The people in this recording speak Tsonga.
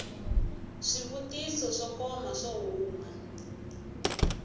swivutiso swo koma swo huma